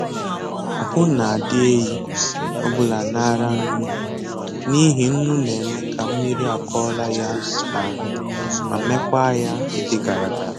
Ahụ na-adị ehi ọbụla na-ara nnu mma, n'ihi nnu na-eme ka mmiri akọla ya n'ahụ ma mekwa ya ịdị gara gara